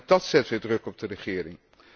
En ook dát zet weer druk op de regering.